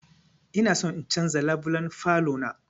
Ina son in canza labulen falo na